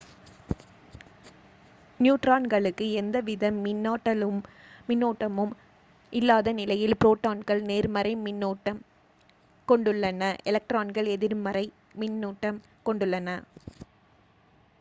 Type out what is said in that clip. நியூட்ரான்களுக்கு எந்த வித மின்னூட்டமும் இல்லாத நிலையில் ப்ரோட்டான்கள் நேர்மறை மின்னுட்டம் கொண்டுள்ளன எலக்ட்ரான்கள் எதிர்மறை மின்னூட்டம் கொண்டுள்ளன